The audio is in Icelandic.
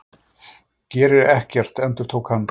Gerir ekkert, endurtók hann.